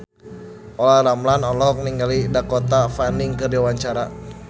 Olla Ramlan olohok ningali Dakota Fanning keur diwawancara